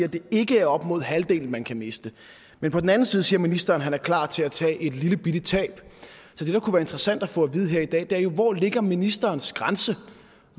at det ikke er op mod halvdelen man kan miste men på den anden side siger ministeren at han er klar til at tage et lillebitte tab så det det kunne være interessant at få at vide her i dag er jo hvor ligger ministerens grænse